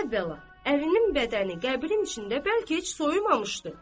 əvvəla, ərinin bədəni qəbrin içində bəlkə heç soyumamışdı.